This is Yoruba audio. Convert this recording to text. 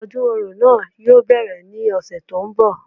Odún orò náà yóò bẹ́rẹ̀ ní ọ̀sẹ̀ tó ń bọ̀